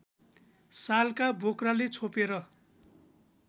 सालका बोक्राले छोपेर